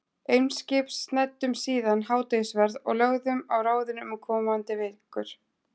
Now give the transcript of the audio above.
Eimskips, snæddum síðan hádegisverð og lögðum á ráðin um komandi vikur.